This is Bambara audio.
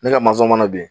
Ne ka mana bin